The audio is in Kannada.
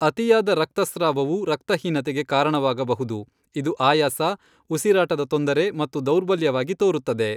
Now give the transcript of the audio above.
ಅತಿಯಾದ ರಕ್ತಸ್ರಾವವು ರಕ್ತಹೀನತೆಗೆ ಕಾರಣವಾಗಬಹುದು, ಇದು ಆಯಾಸ, ಉಸಿರಾಟದ ತೊಂದರೆ ಮತ್ತು ದೌರ್ಬಲ್ಯವಾಗಿ ತೋರುತ್ತದೆ.